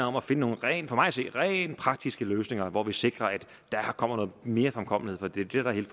om at finde nogle rent praktiske løsninger hvor vi sikrer at der kommer noget mere fremkommelighed for det er det der